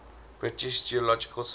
british geological survey